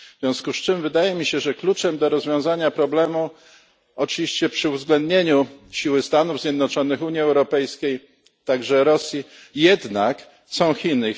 W związku z czym wydaje mi się, że kluczem do rozwiązania problemu oczywiście przy uwzględnieniu siły Stanów Zjednoczonych, Unii Europejskiej, a także Rosji są jednak Chiny.